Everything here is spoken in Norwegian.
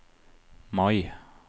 Mai